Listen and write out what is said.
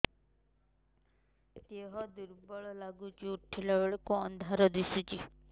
ଦେହ ଦୁର୍ବଳ ଲାଗୁଛି ଉଠିଲା ବେଳକୁ ଅନ୍ଧାର ଦିଶୁଚି